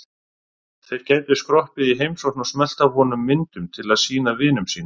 Þeir gætu skroppið í heimsókn og smellt af honum myndum til að sýna vinum sínum.